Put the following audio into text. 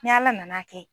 Ni ala nana kɛ